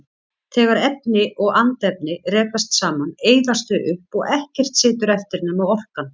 Þegar efni og andefni rekast saman eyðast þau upp og ekkert situr eftir nema orkan.